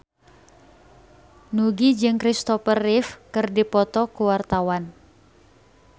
Nugie jeung Kristopher Reeve keur dipoto ku wartawan